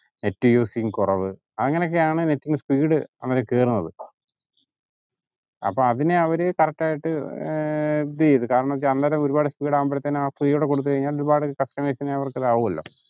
net using കൊറവ് അങ്ങനെക്കെ ആണ് net ന് speed അങ്ങനെ കേറുന്നത്. അപ്പൊ അതിനെ അവര് correct ആയിട്ട് ഏർ agree ചെയ്തു കാരണം വെച്ചാ അന്നേരം ഒരുപാട് speed ആവുമ്പോളത്തിനും ആ speed കൊടുത്തയിന ഒരുപാട് customers നെ അവര്ക് ആവുഅല്ല